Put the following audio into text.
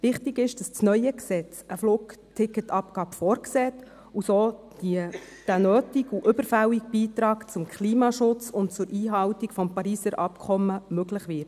Wichtig ist, dass das neue Gesetz eine Flugticketabgabe vorsieht und so der nötige und überfällige Beitrag zum Klimaschutz und zur Einhaltung des Pariser Abkommens möglich wird.